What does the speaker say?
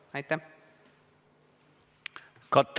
Hea minister!